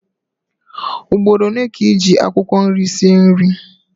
Ugboro ole ka ị ji akwụkwọ nri sie nri?